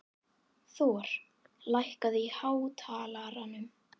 Thor, lækkaðu í hátalaranum.